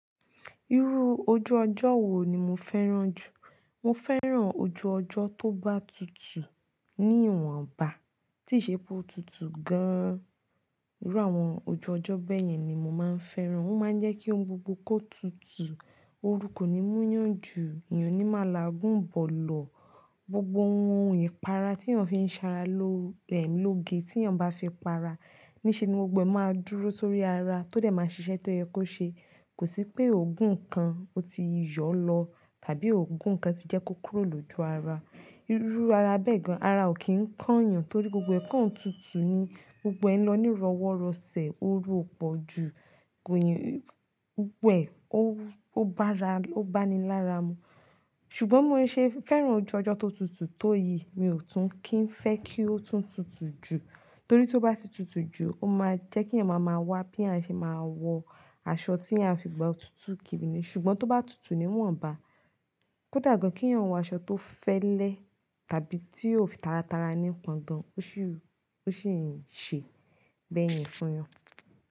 Irú ojú ọjọ́ wo ni mo fẹ́ràn jù? Mo fẹ́ràn ojú ọjọ́ tó batutù ní ìwọ̀nba, tí ìṣe pó tutù gan-an. Irú àwọn ojú ọjọ́ bẹ́yẹn ni mo máa ń fẹ́ràn. Ó máa ń jẹ́ kí ohun gbogbo kó tutù, oru kò ní múyàn jù, èèyàn ò ní máa làágùn bọ̀ lọ. Gbogbo ohun ìpara tí èèyàn fi ń sara ló rẹ̀ lógé tí èèyàn bá fi ń para. Níṣe ni gbogbo e máa dúró sórí ara tó dẹ̀ máa ṣiṣẹ́ tó yẹ kó ṣe. Kò sí pé ògùn kan ó ti yọ lọ tàbí ògùn kan ti jẹ́ kó kúrò lójú ara. Irú ara bẹ́ẹ̀ gan, ara ò kí ń kán èèyàn torí gbogbo ẹ̀kán ò tutù ni. Gbogbo ẹ̀ n lọ ní ìrọ̀wọ́rọ̀sẹ̀, oru ò pọ̀ jù, kò yín, gbogbo e ó bá ra o ba ni lára mu. Ṣùgbọ́n mo ṣe fẹ́ràn ojú ọjọ́ tó tutù tó yìí, mi ò tún kín fẹ́ kí ó tún tutù jù. Torí tí ó bá ti tutù jù, ó máa jẹ́ kí èèyàn máa máa wá bí à á ṣe máa wọ aṣọ tí a fi gbà ó tutù kíni. Ṣùgbọ́n tó bá tutù níwọ̀nba, kò dà gan-an kí èèyàn wọ aṣọ tó fẹ́lẹ́ tàbí tí ó fi tara tara ní ìpọ̀ǹgan, ó sì ń ṣe bẹ́yẹn fún yan.